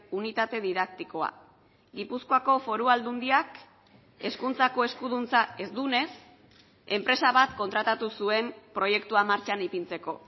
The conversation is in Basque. unitate didaktikoa gipuzkoako foru aldundiak hezkuntzako eskuduntza ez duenez enpresa bat kontratatu zuen proiektua martxan ipintzeko